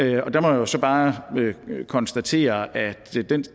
jeg jo så bare konstatere at